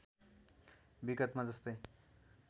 विगतमा जस्तै